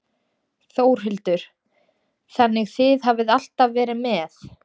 Þórhildur: Þannig þið hafið alltaf verið með?